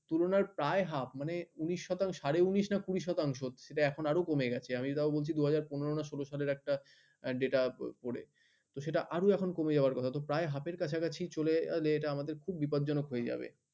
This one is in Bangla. তুলনার প্রায় half উনিশ শতাংশ সাড়ে উনিশ না কুড়ি শতাংশ সেটা এখন আরো কমে গেছে আমি তাও বলছি দুই হাজার পনেরো না ষোল সালের একটা data পড়ে সেটা এখন আরো কমে যাওয়ার কথা প্রায় half এর কাছাকাছি